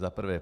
Za prvé.